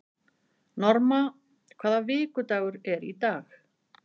Norma, hvaða vikudagur er í dag?